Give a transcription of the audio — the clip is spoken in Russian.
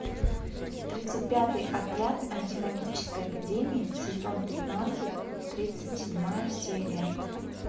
тридцать пятый отряд антимагической академии сезон пятнадцать тридцать седьмая серия